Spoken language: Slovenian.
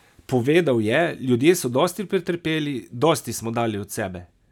Povedal je: "Ljudje so dosti pretrpeli, dosti smo dali od sebe.